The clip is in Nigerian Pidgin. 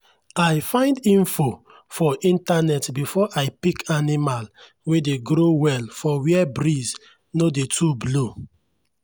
i find info for internet before i pick animal wey dey grow well for where breeze no dey too blow.